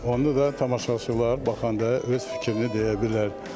Onu da tamaşaçılar baxanda öz fikrini deyə bilər.